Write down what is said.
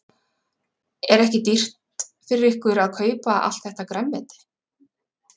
Magnús: Er ekki dýrt fyrir ykkur að kaupa allt þetta grænmeti?